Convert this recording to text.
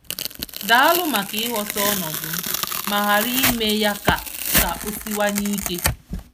Daalụ maka ịghọta ọnọdụ m ma ghara ime ya ka ka o siwanye ike.